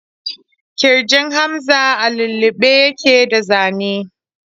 Ƙirjin Hamza a lullube yake da zane.